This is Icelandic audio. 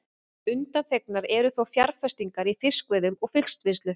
Undanþegnar eru þó fjárfestingar í fiskveiðum og fiskvinnslu.